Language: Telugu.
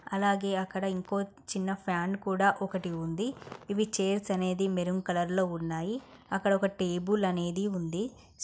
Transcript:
అలాగే అక్కడ ఇంకో చిన్న ఫ్యాన్ కూడా ఒకటి ఉంది ఇవి చైర్స్ అనేది మెరూన్ కలర్ లో ఉన్నాయి అక్కడ ఒక టేబుల్ అనేది ఉంది.